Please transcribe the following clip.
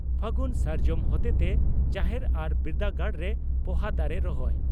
ᱯᱷᱟᱹᱜᱩᱱ ᱥᱟᱨᱡᱚᱢ ᱦᱚᱛᱮᱛᱮ ᱡᱟᱦᱮᱨ ᱟᱨ ᱵᱤᱨᱫᱟᱹᱜᱟᱲᱨᱮ ᱯᱚᱦᱟ ᱫᱟᱨᱮ ᱨᱚᱦᱚᱭ